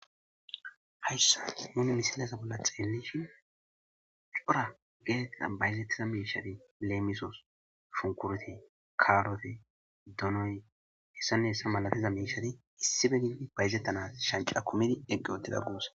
hayssa munu misalasa bolla xeellishi cora geeetxa bayzettiza miishadi leemisoos shunkuroti karote donoy hessanne hessa malatiza miishadi issi be gidi bayzettanas shanca kumidi eqqi odida guuse